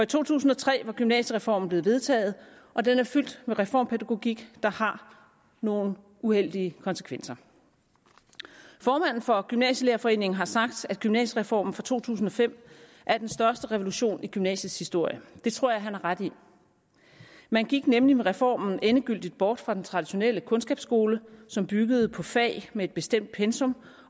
to tusind og tre var gymnasiereformen blevet vedtaget og den er fyldt med en reformpædagogik der har nogle uheldige konsekvenser formanden for gymnasielærerforeningen har sagt at gymnasiereformen fra to tusind og fem er den største revolution i gymnasiets historie og det tror jeg han har ret i man gik nemlig med reformen endegyldigt bort fra den traditionelle kundskabsskole som byggede på fag med et bestemt pensum